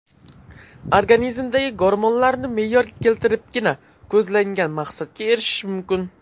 Organizmdagi gormonlarni me’yorga keltiribgina ko‘zlangan maqsadga erishish mumkin.